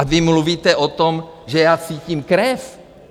A vy mluvíte o tom, že já cítím krev?